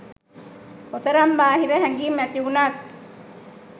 කොතරම් බාහිර හැඟිම් ඇතිවුනත්